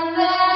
vandemataram